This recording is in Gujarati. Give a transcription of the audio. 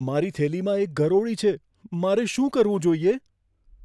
મારી થેલીમાં એક ગરોળી છે. મારે શું કરવું જોઈએ?